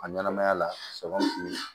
A ɲɛnɛmaya la sɔ fili